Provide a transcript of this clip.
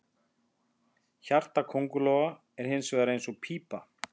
Hjarta köngulóa er hins vegar eins og pípa.